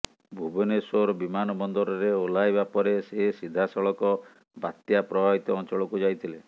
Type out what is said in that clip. ଭୁବନେଶ୍ୱର ବିମାନବନ୍ଦରରେ ଓହ୍ଲାଇବା ପରେ ସେ ସିଧାସଳଖ ବାତ୍ୟା ପ୍ରଭାବିତ ଅଞ୍ଚଳକୁ ଯାଇଥିଲେ